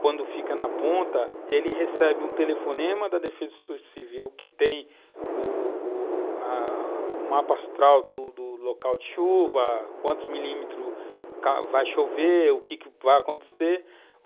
quando fica na ponta, ele recebe um telefonema da Defesa Civil que tem o o a a o mapa astral do local de chuva, quantos milímetros vai chover, o que vai acontecer.